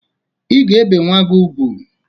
I ga ebe nwa gị ugwu!